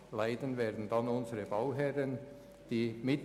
Leiden werden unsere Bauherren.